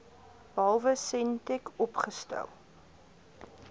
behalwe sentech oopgestel